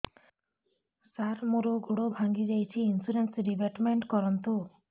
ସାର ମୋର ଗୋଡ ଭାଙ୍ଗି ଯାଇଛି ଇନ୍ସୁରେନ୍ସ ରିବେଟମେଣ୍ଟ କରୁନ୍ତୁ